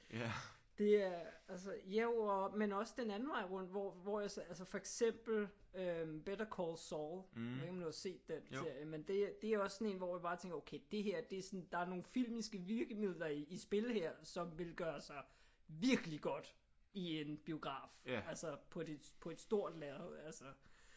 Det er altså jo og men også den anden vej rundt hvor hvor jeg så for eksempel øh Better Call Saul jeg ved ikke om du har set den serie. Men det er det er også sådan en hvor man bare tænker okay det her det er sådan der er nogle filmiske virkemidler i spil her som ville gøre sig virkelig godt i en biograf altså på det på et stort lærred altså